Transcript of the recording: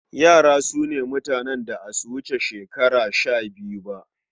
Yara su ne mutanen da a su wuce shekara shabiyu ba.